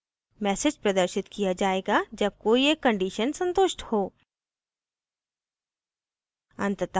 message प्रदर्शित किया जायेगा जब कोई एक conditions संतुष्ट हो